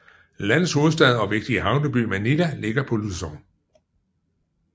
Landets hovedstad og vigtige havneby Manila ligger på Luzon